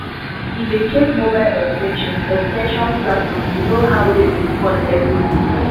he dey check mobile ex ten sion ex ten sion platform to know how rain go fall every week.